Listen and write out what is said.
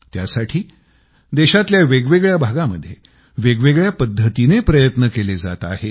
त्यासाठी देशातल्या वेगवेगळ्या भागामध्ये वेगवेगळ्या पद्धतीने प्रयत्न केले जात आहेत